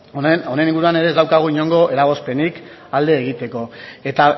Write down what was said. honen inguruan ere ez daukagu inongo eragozpenik alde egiteko eta